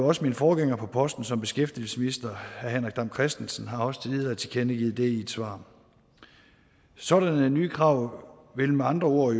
også min forgænger på posten som beskæftigelsesminister herre henrik dam kristensen har tidligere tilkendegivet det i et svar sådanne nye krav vil med andre ord